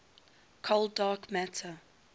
cold dark matter